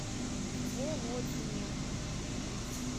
володине